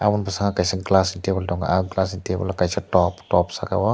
oh bwskango kaisa glass table tongo o glass ni table kaisa top top saka o.